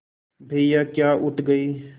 भैया क्या उठ गये